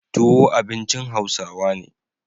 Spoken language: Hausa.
Tuwo abincin Hausawa ne.